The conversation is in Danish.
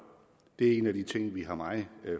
det er en af de ting vi har meget